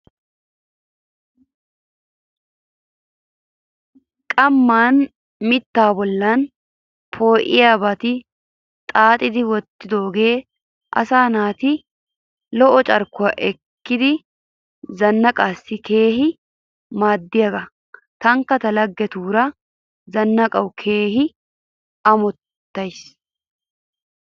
Qamman mittaa bolli poo'iyaabaa xaaxidi wottidoogee asaa naati lo'iya carkkuwa ekkiiddi zannaqanaassi keehi maadiyagan tankka ta laggetuura zannaqqanawu keehi ammotayis.